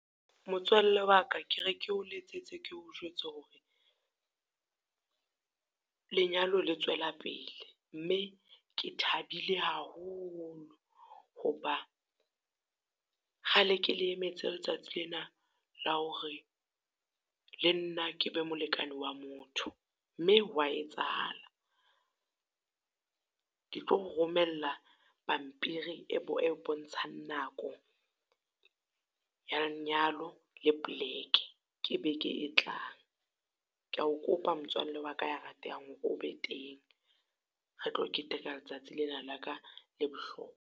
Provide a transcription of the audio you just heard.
Motswalle wa ka ke re ke o letsetse ke o jwetse hore, lenyalo le tswela pele. Mme ke thabile haholo ho ba kgale ke le emetse letsatsi lena la hore, le nna ke be molekane wa motho, mme ho wa etsahala. Ke tlo o romella pampiri e e bontshang nako ya lenyalo le poleke, ke beke e tlang. Ke ya o kopa motswalle, wa ka ya ratehang o be teng. Re tlo keteka letsatsi lena la ka le bohlokwa.